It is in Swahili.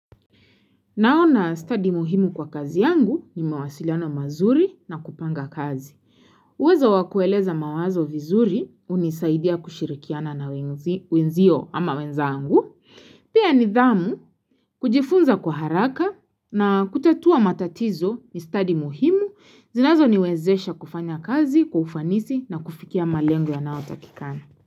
Naona study muhimu kwa kazi yangu, ni mawasiliano mazuri, na kupanga kazi. Uwezo wakueleza mawazo vizuri, unisaidia kushirikiana na wenzio ama wenzangu. Pia nidhamu, kujifunza kwa haraka na kutatua matatizo ni study muhimu, zinazo niwezesha kufanya kazi, kwa ufanisi na kufikia malengo yanao takikani.